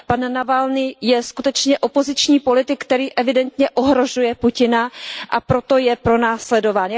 Pan Navalný je skutečně opoziční politik, který evidentně ohrožuje Putina, a proto je pronásledován.